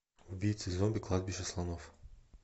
убийцы зомби кладбище слонов